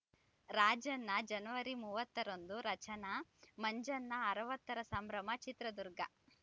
ರಾಜಣ್ಣ ಜನವರಿ ಮೂವತ್ತರಂದು ರಚನಾ ಮಂಜಣ್ಣ ಅರವತ್ತರ ಸಂಭ್ರಮ ಚಿತ್ರದುರ್ಗ